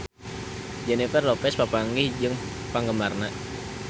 Jennifer Lopez papanggih jeung penggemarna